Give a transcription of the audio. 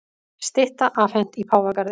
Stytta afhent í Páfagarði